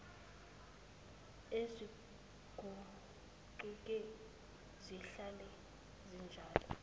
aziguquki zihlala zinjalo